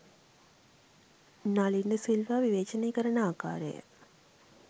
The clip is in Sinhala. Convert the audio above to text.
නලින් ද සිල්වා විවේචනය කරන ආකාරය